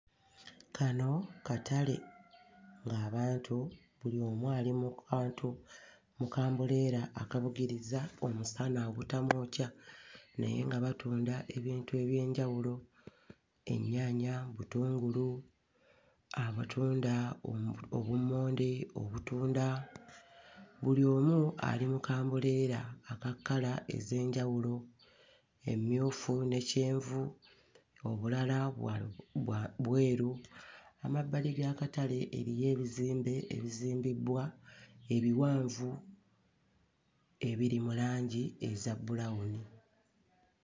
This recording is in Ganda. Kano katale ng'abantu buli omu ali mu kantu ku kambuleera akabugiriza omusana obutamwokya naye nga batunda ebintu eby'enjawulo ennyaanya, butungulu, abatunda oh obummonde, obutunda buli omu ali mu kambuleera aka kkala ez'enjawulo emmyufu ne kyenvu, obulala bwa bwa bweru. Amabbali g'akatale eriyo ebizimbe ebizimbibbwa ebiwanvu ebiri mu langi eza bbulawuni.